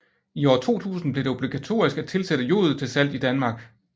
I år 2000 blev det obligatorisk at tilsætte jod til salt i Danmark